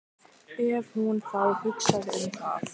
Ef hún þá hugsaði um það.